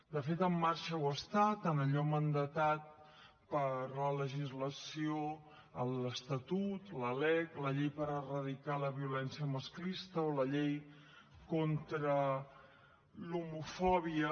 de fet en marxa ho està en allò mandatat per la legislació en l’estatut la lec la llei per erradicar la violència masclista o la llei contra l’homofòbia